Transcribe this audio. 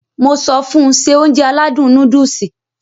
Mo sọ fun Se Ounjẹ aládùn nóódùsì